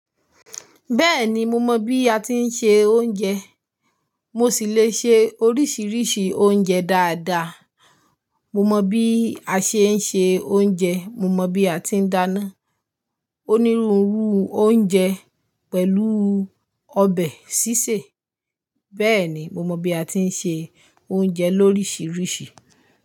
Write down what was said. Bẹ́ẹ̀ni mo mọ̀ bí a tí ń se oúnjẹ, mo sì le se oríṣiiríṣii oúnjẹ dáadáa. Mo mọ̀ bí a ṣe ń se oúnjẹ, mo mọ̀ bí a ti ń dáná. Onírúurú oúnjẹ pẹ̀lú ọbẹ̀ sísè. Bẹ́ẹ̀ni mo mọ̀ bí a ti ń se oúnjẹ lorisirisi.